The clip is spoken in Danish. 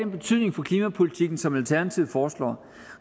betydning for klimapolitikken som alternativet foreslår